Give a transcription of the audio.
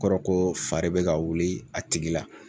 O kɔrɔ ko fa de bi ka wuli a tigi la